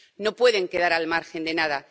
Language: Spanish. no pueden quedar al margen de nada